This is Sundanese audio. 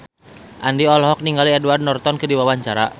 Andien olohok ningali Edward Norton keur diwawancara